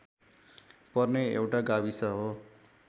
पर्ने एउटा गाविस हो